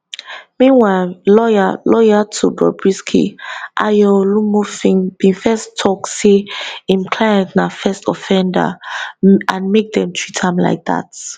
meanwhile lawyer lawyer to bobrisky ayo olumofin bin first tok say im client na first offender and make dem treat am like dat